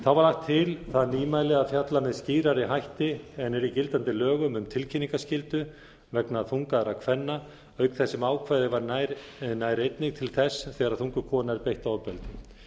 þá var til það nýmæli að fjalla með skýrari hætti en er í gildandi lögum um tilkynningarskyldu vegna þungaðra kvenna auk þess sem ákvæðið nær einnig til þess þegar þunguð kona er beitt ofbeldi